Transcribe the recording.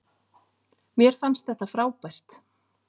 Mér fannst þetta frábært.